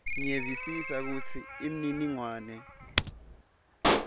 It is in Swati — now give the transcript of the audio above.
ngiyevisisa kutsi imininingwane